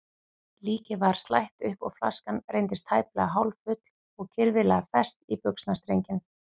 Líkið var slætt upp og flaskan reyndist tæplega hálffull og kirfilega fest í buxnastrenginn.